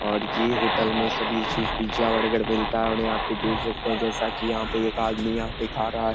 और ये होटल में सभी चीज पिज्जा बर्गर मिलती है और यहां पे देख सकते हैं जैसा की एक आदमी यहाँ पे खा रहा है।